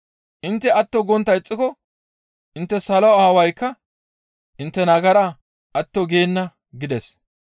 Intte atto gontta ixxiko intte salo aawaykka intte nagaraa atto geenna» gides.